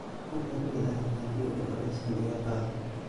Wax yar illahey hadii uu culeyskan ikaqado.